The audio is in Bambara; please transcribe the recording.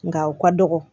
Nga u ka dɔgɔ